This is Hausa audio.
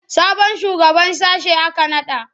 Sabon shugaban sashe aka naɗa?